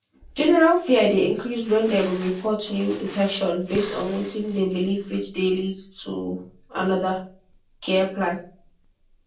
general fear dey increase when dem report new infection base on wetin dem believe which dey lead to another care plan.